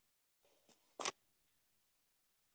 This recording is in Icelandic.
hrópaði Emil.